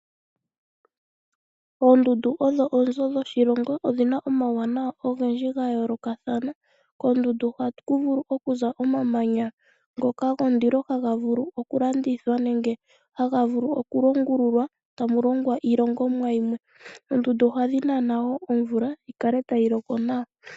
Oondundu odho oonzo dhoshilongo odhina omawuwanawa ogendji gayoolokathana, koondundu ohaku vulu okuza omamanya ngoka gondilo haga vulu okulandithwa nenge haga vulu okulongululwa tamulongwa iilongomwa yimwe. Oondundu ohadhi nana wo omvula yikale tayi loko nawa.